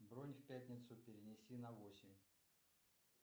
бронь в пятницу перенеси на восемь